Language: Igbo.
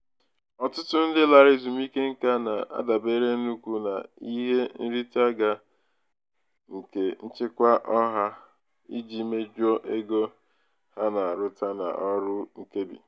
ọtụtụ ndị larala ezumike nka na-adabere nnukwu n'ihe nrite ga nke nchekwa ọha iji mejuo ego ego ha na-arụta n'ọrụ nkebi.